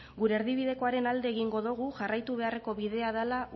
gure erdibidekoaren alde egingo dugu jarraitu beharreko bidea dela